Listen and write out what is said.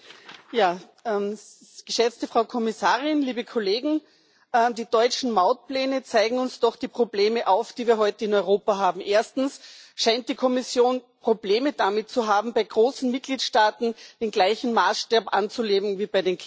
Frau Präsidentin, geschätzte Kommissarin, liebe Kolleginnen und Kollegen! Die deutschen Mautpläne zeigen uns doch die Probleme auf, die wir heute in Europa haben. Erstens scheint die Kommission Probleme damit zu haben, bei großen Mitgliedstaaten den gleichen Maßstab anzulegen wie bei den kleinen.